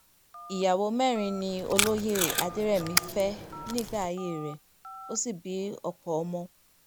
ìyàwó mẹ́rin ni olóye adẹ̀rẹ̀mí fẹ́ nígbà ayé rẹ̀ ó sì bí ọ̀pọ̀ ọmọ